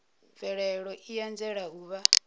mvelelo i anzela u vha